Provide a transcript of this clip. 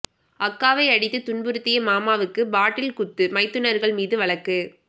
அக்காவை அடித்து துன்புறுத்திய மாமாவுக்கு பாட்டில் குத்து மைத்துனர்கள் மீது வழக்கு